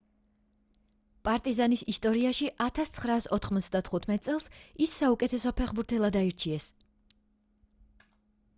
პარტიზანის ისტორიაში 1995 წელს ის საუკეთესო ფეხბურთელად აარჩიეს